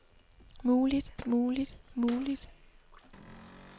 muligt muligt muligt